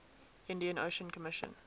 indian ocean commission